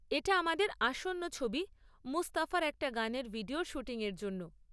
এটা আমাদের আসন্ন ছবি 'মুস্তফা' র একটা গানের ভিডিওর শ্যুটিংয়ের জন্য।